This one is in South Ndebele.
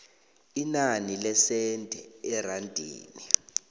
inani lesenthe erandini